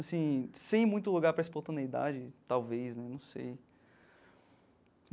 Assim, sem muito lugar para espontaneidade, talvez, não sei.